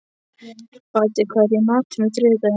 Baddi, hvað er í matinn á þriðjudaginn?